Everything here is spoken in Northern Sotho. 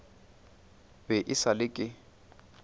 be e sa le ke